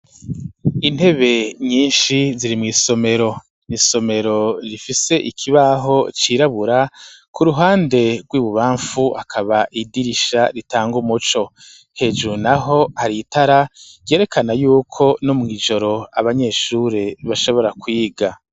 Intebe nyinshi ziri mw'isomero, ni isomero rifise ikibaho cirabura, ku ruhande rw'ibubamfu hakaba idirisha ritanga umuco, hejuru naho hari itara ryerekana y'uko no mw'ijoro, abanyeshure bashobora kwiga.